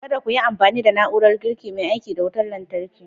Kada ku yi amfani da na'urar girki mai aiki da wutar lantarki!